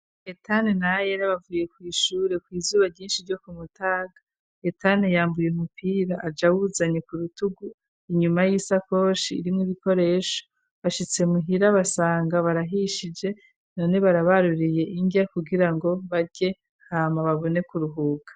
Hetane na Ayera bavuye kw'ishure kw'izuba ryinshi ryo ku mutaga Hetan yambaye umupira aja awuzanye ku rutugu inyuma y'isakoshi irimwo ibikoresho bashitse muhira basanga barahishije none barabaruriye indyo kugira ngo barye hama babone kuruhuka.